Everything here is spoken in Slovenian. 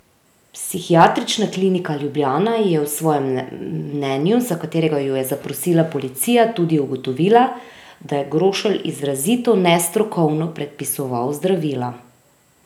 Psihiatrična klinika Ljubljana je v svojem mnenju, za katerega jo je zaprosila policija, tudi ugotovila, da je Grošelj izrazito nestrokovno predpisoval zdravila.